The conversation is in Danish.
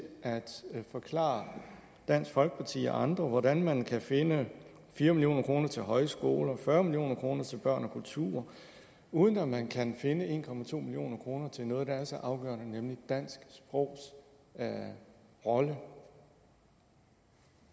at forklare dansk folkeparti og andre hvordan man kan finde fire million kroner til højskoler fyrre million kroner til børn og kultur uden at man kan finde en million kroner til noget der er så afgørende nemlig dansk sprogs rolle